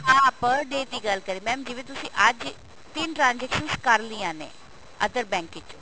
ਹਾਂ per day ਦੀ ਗੱਲ ਕਰ ਰਹੀ mam ਜਿਵੇਂ ਤੁਸੀਂ ਅੱਜ ਤਿੰਨ transactions ਕਰ ਲਈਆਂ ਨੇ other bank ਵਿੱਚੋਂ